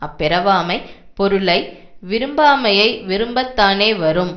அப்பிறவாமை பொருளை விரும்பாமையை விரும்ப தானே வரும்